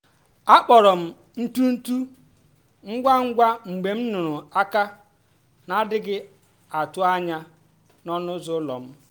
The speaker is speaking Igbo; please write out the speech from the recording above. a kpụrụ m ntutu ngwa ngwa mgbe m nụrụ aka na-adịghị atụ anya n’ọnụ ụzọ ụlọ m